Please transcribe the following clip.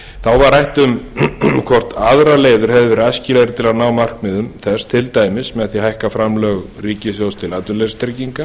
þá var rætt hvort aðrar leiðir hefðu verið æskilegri til að ná markmiðum þess til dæmis með því að hækka framlög ríkissjóðs til atvinnuleysistrygginga